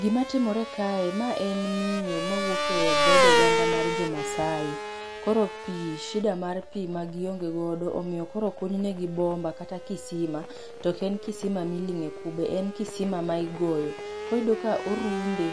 Gimatimore kae mae en miyo mawuok edhood oganda mar jo Maasai. Koro pi shida mar pi magionge godo koro okuny negi bomba kata kisima. To ok en kisima ma iling'e kube, en kisima ma igoyo. Koyudo ka orunde,.